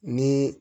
Ni